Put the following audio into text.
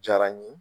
Diyara n ye